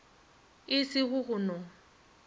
e se go go no